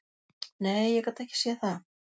Nei, ég gat ekki séð það.